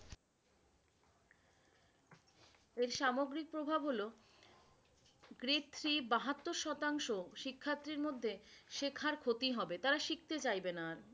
এর সামগ্রিক প্রভাব হলো বাহাত্তর শতাংশ শিক্ষার্থীর মধ্যে শেখার ক্ষতি হবে। তারা শিখতে চাইবে না আর।